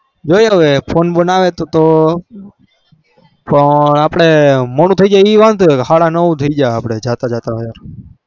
બેહ રેયો phone બન આવેતો મોડું તહી જશે સારા નવ થઇ જશે જતા જતા